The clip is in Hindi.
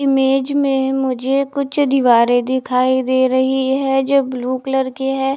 इमेज में मुझे कुछ दीवारे दिखाई दे रही है जो ब्लू कलर की है।